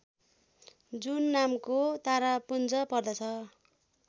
जुन नामको तारापुञ्ज पर्दछ